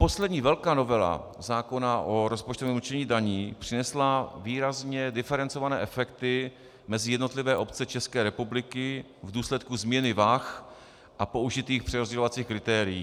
Poslední velká novela zákona o rozpočtovém určení daní přinesla výrazně diferencované efekty mezi jednotlivé obce České republiky v důsledku změny vah a použitých přerozdělovacích kritérií.